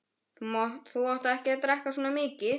Þú átt ekki að drekka svona mikið.